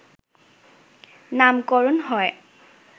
নামকরণ হয়